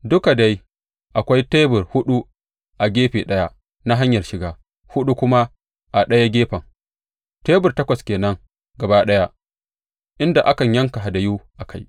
Duka dai akwai tebur huɗu a gefe ɗaya na hanyar shiga, huɗu kuma a ɗaya gefen, tebur takwas ke nan gaba ɗaya, inda a kan yanka hadayu a kai.